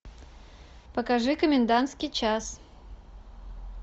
покажи комендантский час